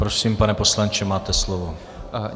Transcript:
Prosím, pane poslanče, máte slovo.